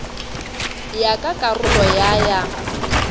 ya ka karolo ya ya